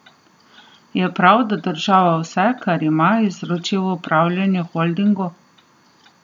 Je prav, da država vse, kar ima, izroči v upravljanje holdingu?